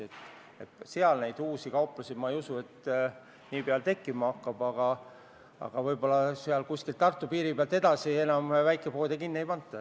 Nii et ma ei usu, et uusi kauplusi nii pea tekkima hakkab, aga võib-olla alates Tartu piirist enam väikepoode kinni ei panda.